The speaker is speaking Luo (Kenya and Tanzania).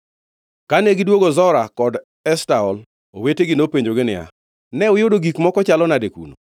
Kane gidwogo Zora kod Eshtaol, owetegi nopenjogi niya, “Ne uyudo gik moko chalo nade kuno?”